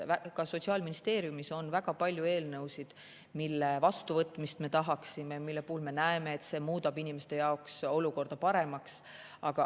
Sotsiaalministeeriumis on väga palju eelnõusid, mille vastuvõtmist me tahaksime, mille puhul me näeme, et see muudab inimeste jaoks olukorda paremaks.